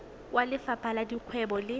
kwa lefapheng la dikgwebo le